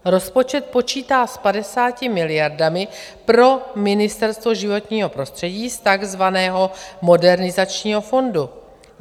Rozpočet počítá s 50 miliardami pro Ministerstvo životního prostředí z takzvaného Modernizačního fondu.